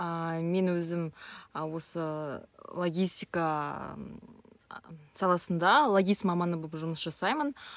ааа мен өзім осы логистика а саласында логист маманы болып жұмыс жасаймын